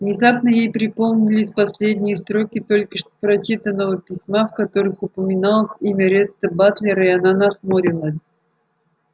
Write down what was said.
внезапно ей припомнились последние строки только что прочитанного письма в которых упоминалось имя ретта батлера и она нахмурилась